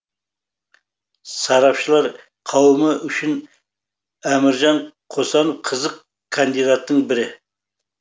сарапшылар қауымы үшін әміржан қосанов қызық кандидаттың бірі